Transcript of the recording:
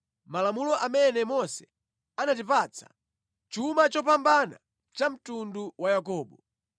malamulo amene Mose anatipatsa, chuma chopambana cha mtundu wa Yakobo.